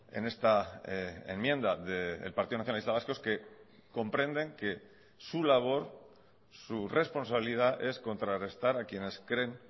en esta enmienda del partido nacionalista vasco es que comprenden que su labor su responsabilidad es contrarrestar a quienes creen